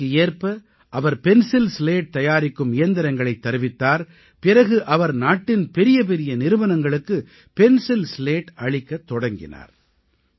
காலத்திற்கு ஏற்ப அவர் பென்சில் ஸ்லேட் தயாரிக்கும் இயந்திரங்களைத் தருவித்தார் பிறகு அவர் நாட்டின் பெரியபெரிய நிறுவனங்களுக்கு பென்சில் ஸ்லேட் அளிக்கத் தொடங்கினார்